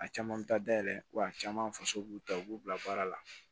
A caman bɛ taa dayɛlɛ wa a caman faso b'u ta u b'u bila baara la